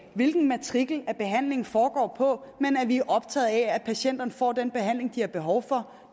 hvilken matrikel behandlingen foregår på men at vi er optaget af at patienterne får den behandling de har behov for